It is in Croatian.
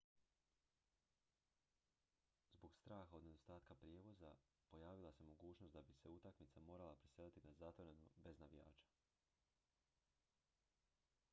zbog straha od nedostatka prijevoza pojavila se mogućnost da bi se utakmica morala preseliti na zatvoreno bez navijača